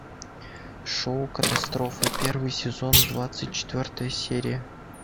шоу катастрофа первый сезон двадцать четвертая серия